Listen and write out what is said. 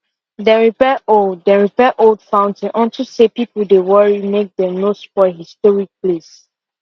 dem repair old dem repair old fountain unto say people dey worry make dem no spoil historic place